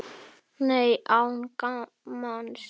Nei, án gamans.